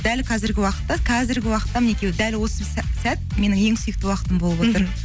дәл қазіргі уақытта қазіргі уақытта мінекей дәл осы сәт менің ең сүйікті уақытым болып отыр